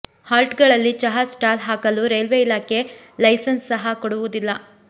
halt ಗಳಲ್ಲಿ ಚಹಾ stall ಹಾಕಲು ರೈಲ್ವೆ ಇಲಾಖೆ ಲೈಸನ್ಸ್ ಸಹಾ ಕೊಡುವುದಿಲ್ಲ